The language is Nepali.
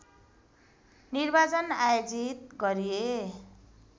निर्वाचन आयोजित गरिए